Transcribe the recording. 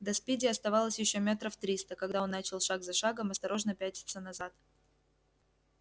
до спиди оставалось ещё метров триста когда он начал шаг за шагом осторожно пятиться назад